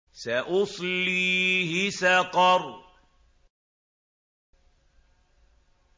سَأُصْلِيهِ سَقَرَ